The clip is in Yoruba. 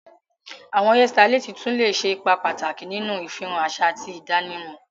Awọn hairstylists tun le ṣe ipa pataki ninu ifihan aṣa ati idanimọ.